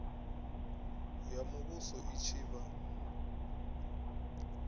ya muvhuso i tshi vha